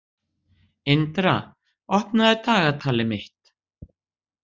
Indra, opnaðu dagatalið mitt.